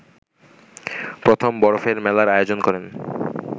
প্রথম বরফের মেলার আয়োজন করেন